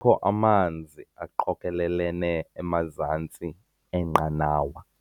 Kukho amanzi aqokelelene emazantsi enqanawa.